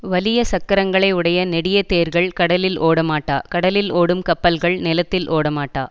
வலிய சக்கரங்களை உடைய நெடிய தேர்கள் கடலில் ஒடமாட்டா கடலில் ஓடும் கப்பல்கள் நிலத்தில் ஓடமாட்டா